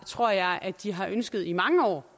tror jeg de har ønsket i mange år